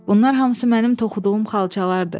Bunlar hamısı mənim toxuduğum xalçalardır.